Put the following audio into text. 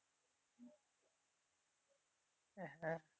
হ্যাঁ